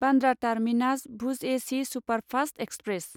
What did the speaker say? Bandra terminus Bhuj A C superfast express